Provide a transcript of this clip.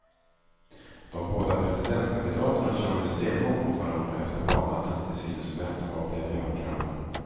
De båda presidentkandidaterna kör nu stenhårt mot varandra efter valnattens till synes vänskapliga björnkramar.